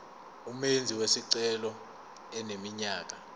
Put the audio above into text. umenzi wesicelo eneminyaka